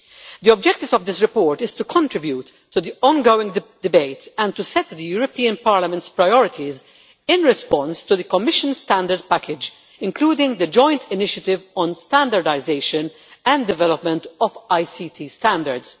The objective of this report is to contribute to the ongoing debate and to set the European Parliament's priorities in response to the Commission standardisation package, including the joint initiative on standardisation and development of ICT standards.